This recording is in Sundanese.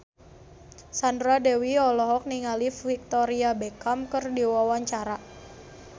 Sandra Dewi olohok ningali Victoria Beckham keur diwawancara